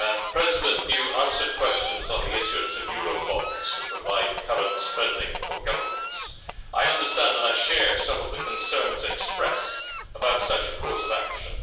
President, you answered questions on the issuance of Eurobonds to provide current spending for governments. I understand and I share some of the concerns expressed about such a course of action.